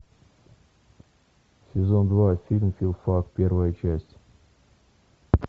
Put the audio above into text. сезон два фильм филфак первая часть